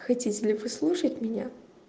хотите ли вы слушать меня